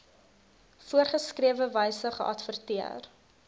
voorgeskrewe wyse geadverteer